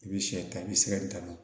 I bɛ sɛ ta i bɛ sɛgɛ tan